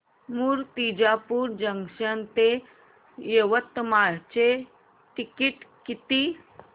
Murtijapur junction ते यवतमाळ चे ticket किती